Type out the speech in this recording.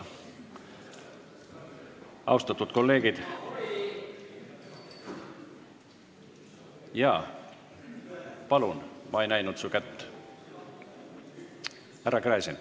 Härra Gräzin, palun!